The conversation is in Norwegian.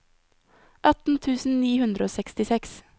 atten tusen ni hundre og sekstiseks